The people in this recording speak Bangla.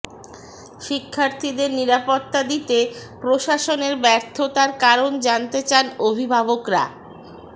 শিক্ষার্থীদের নিরাপত্তা দিতে প্রশাসনের ব্যর্থতার কারণ জানতে চান অভিভাবকরা